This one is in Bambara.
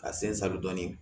Ka sen sabon dɔɔnin